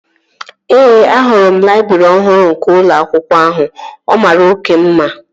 Ee, ahụrụ m laịbrị ọhụrụ nke ụlọ akwụkwọ ahụ. Ọ mara oké mma